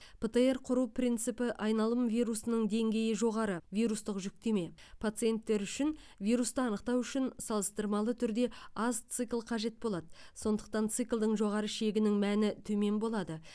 птр құру принципі айналым вирусының деңгейі жоғары вирустық жүктеме пациенттер үшін вирусты анықтау үшін салыстырмалы түрде аз цикл қажет болады сондықтан циклдың жоғары шегінің мәні төмен болады